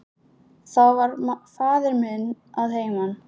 Þá var faðir minn að heiman.